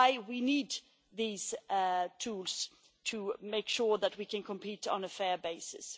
is why we need these tools to make sure that we can compete on a fair basis.